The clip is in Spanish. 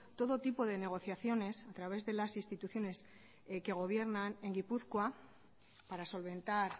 todo tipo de negociaciones a través de las instituciones que gobiernan en gipuzkoa para solventar